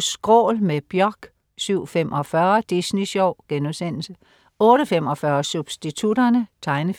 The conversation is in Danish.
SKRÅL med Björk 07.45 Disney sjov* 08.45 Substitutterne. Tegnefilm